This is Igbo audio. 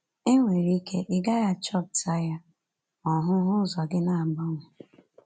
E nwere ike ị gaghị achọpụta ya, ma ọhụhụ ụzọ gị na-agbanwe